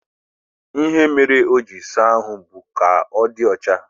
Ihe mere o jiri saa ahụ bụ ka ọ dị ọcha